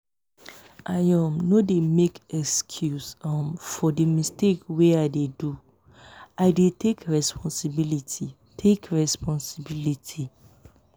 i um no dey make excuse um for di mistake wey i do i dey take resposibility. take resposibility.